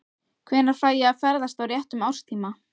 Hvenær fæ ég að ferðast á réttum árstíma?